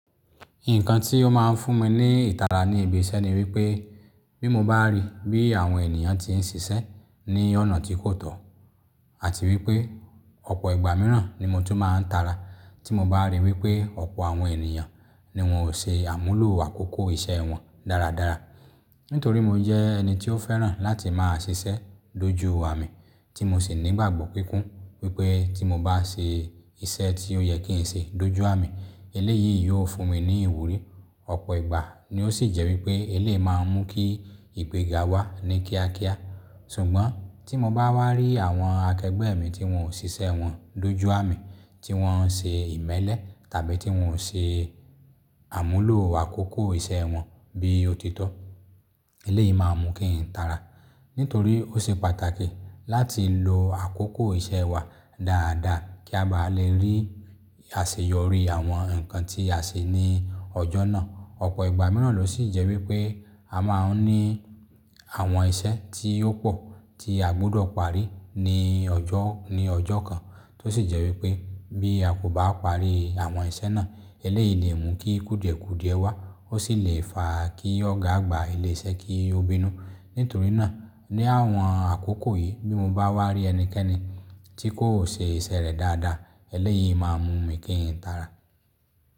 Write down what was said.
Nǹkan tí ó máa ń fún mi ní ìtara ní ibi iṣẹ́ ni wípé bí mo bá rí bí àwọn ènìyàn tí ń ṣiṣẹ́ ní ọ̀nà tí kò tọ́ àti wípé ọ̀pọ̀ ìgbà mìíràn ni mo tó máa ń tara tí mo bá rí wípé ọ̀pọ̀ àwọn ènìyàn ni wón ò ṣe àmúlò àkókò iṣẹ́ wọn dáradára. Nítorí mo jẹ́ ẹni tí ó fẹ́ràn láti máa ṣiṣẹ́ dójú àmi tí mo sì ní ìgbàgbọ́ kínkún wípé tí mo bá ṣe e iṣẹ́ tí ó yẹ kí n ṣe dójú àmi eléyìí yóò fún mi ní ìwúrí. Ọ̀pọ̀ ìgbà ni ó sì jẹ́ wípé eléyìí máa ń mú kí ìgbéga wá ní kíákíá. Sùgbọ́n tí mo bá wá rí àwọn akẹgbẹ́ mi tí wón ò ṣiṣẹ́ wọn dójú àmì tí wón ń ṣe ìmẹ́lẹ́ tàbí tí wón ò ṣe àmúlò àkókò iṣẹ́ wọn bí ó ti tọ́, eléyìí máa mú kí n tara. Nítorí ó ṣe pàtàkì láti lo àkókò iṣẹ́ wa dáadáa kí a bá lè rí àṣeyọrí àwọn nǹkan tí a ṣe ní ọjọ́ náà. Ọ̀pọ̀ ìgbà mìíràn ló sì jẹ́ wípé a máa ń ní àwọn iṣẹ́ tí ó pò tí a gbọdọ̀ parí ní ọjọ́, ní ọjọ́ kan tó sì jẹ́ wípé bí a kò bá parí àwọn iṣẹ́ náà eléyìí lè mú kí kùdìẹ̀kùdìẹ wá ó sì lè fa kí ọ̀gá àgbà ilé iṣẹ́ kí ó bínú. Nítorí náà ní àwọn àkókò yìí bí mo bá wá rí ẹnikẹ́ni tí kò ṣe iṣẹ́ rẹ̀ dáadáa eléyìí máa mú mi kí n tara.